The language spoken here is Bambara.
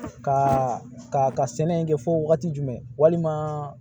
Ka ka sɛnɛ kɛ fɔ wagati jumɛn walima